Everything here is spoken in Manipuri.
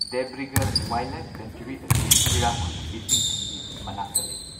ꯗꯦꯕ꯭ꯔꯤꯒꯔ ꯋꯥꯏꯜꯗꯂꯥꯏꯐ ꯁꯦꯡꯆꯨꯔꯤ ꯑꯁꯤ ꯍꯤꯔꯥꯀꯨꯗ ꯏꯁꯤꯡ ꯊꯤꯡꯕꯤ ꯃꯅꯥꯛꯇ ꯂꯩ꯫